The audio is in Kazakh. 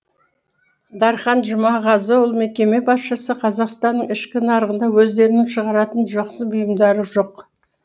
дархан жұмағазы ол мекеме басшысы қазақстанның ішкі нарығында өздерінің шығаратын жақсы бұйымдары жоқ